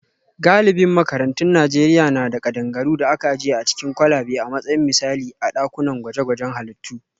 Galibin makarantun Najeriya na da kadangaru da aka ajiye a cikin kwalabe a matsayin misali a dakunan gwaje-gwajen halittu